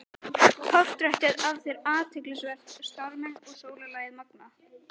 Portrettið af þér er athyglisvert- stormurinn og sólarlagið magnað.